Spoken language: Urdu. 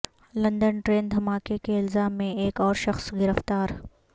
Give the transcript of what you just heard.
لندن ٹرین دھماکے کے الزام میں ایک اور شخص گرفتار